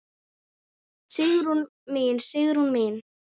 Sigrún mín, Sigrún mín.